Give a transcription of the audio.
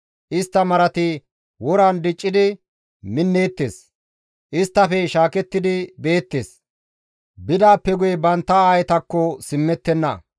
Istta marati woran diccidi minneettes; isttafe shaakettidi beettes; bidaappe guye bantta aayetakko simmettenna.